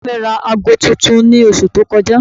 Bàbá mi ra aago tuntun ní oṣù tó kọjá